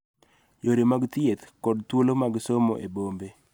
Yore mag thieth, kod thuolo mag somo e bombe,